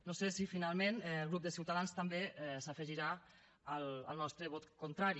no sé si finalment el grup de ciutadans també s’afegirà al nostre vot contrari